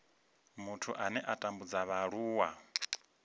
muthu ane a tambudza vhaaluwa